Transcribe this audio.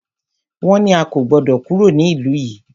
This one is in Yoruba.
Wọ́n ní a kò gbọdọ̀ kúrò ní ìlú yìí!